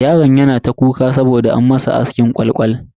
Yaron yana ta kuka saboda an masa askin kwal kwal.